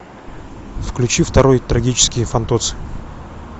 включи второй трагический фантоцци